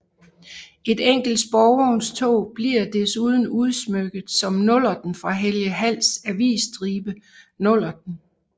Et enkelt sporvognstog bliver desuden udsmykket som Nullerten fra Helge Halls avisstribe Nullerten